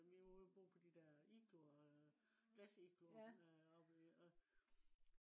vi var ude og bo på de der igloer glasigloer oppe i øh